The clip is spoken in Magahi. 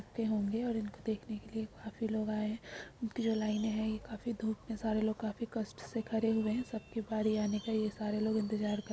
होंगे और इनको देखने के लिए काफी लोग आए हैं ये जो लाइनें हैं ये काफी दूर तक इतने सारे लोग काफी कष्ट से खड़े हैं सबकी बारी आने का ये सारे लोग इंतज़ार --